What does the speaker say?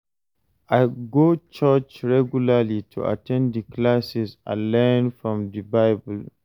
I go church regularly to at ten d di classes and learn from di Bible.